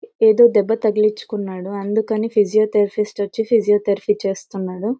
ఏదో దెబ్బ తగిలించుకున్నాడు అందుకని ఫీషియో థేరోపిస్ట్ వచ్చి ఫీషియో థెరపీ చేస్తున్నాడు.